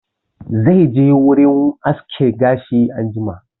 Zai je wurin aske gashi anjima